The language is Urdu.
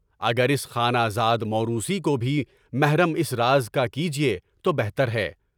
اگر اس خانہ زاد موروثی کو بھی محرم اس راز کا کیجیے تو بہتر ہے۔